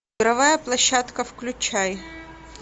игровая площадка включай